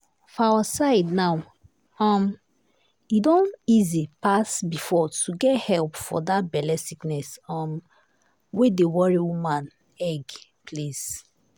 for our side now um e don easy pass before to get help for that belle sickness um wey dey worry woman egg place.